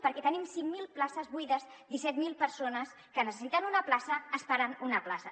perquè te·nim cinc mil places buides i disset mil persones que necessiten una plaça esperant una plaça